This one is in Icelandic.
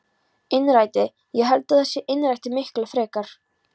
Innrætið, ég held að það sé innrætið miklu fremur.